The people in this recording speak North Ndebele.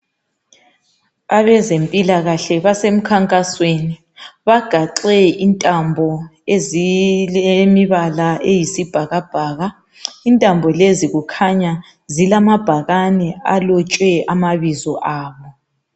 Abezempilakahle basemkhankasweni bagaxe intambo ezilemibala eyisibhakabhaka. Intambo lezi kukhanya zilamabhakane alotshwe amabizo abo.